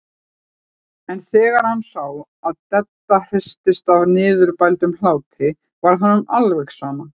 En þegar hann sá að Dadda hristist af niðurbældum hlátri varð honum alveg sama.